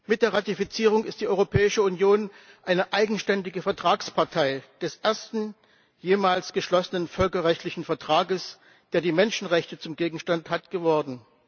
Mit der Ratifizierung ist die Europäische Union eine eigenständige Vertragspartei des ersten jemals geschlossenen völkerrechtlichen Vertrags, der die Menschenrechte zum Gegenstand hat, geworden.